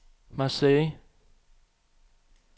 Marseille